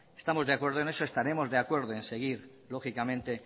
estamos de acuerdo en eso estaremos de acuerdo en seguir lógicamente